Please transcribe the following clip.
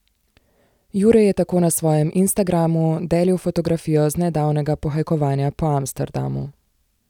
Jure je tako na svojem instagramu delil fotografijo z nedavnega pohajkovanja po Amsterdamu.